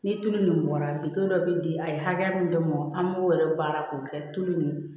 Ni tulu min bɔra bitɔn dɔ bɛ di a ye hakɛya min de mɔ an b'o yɛrɛ baara k'o kɛ tulu nin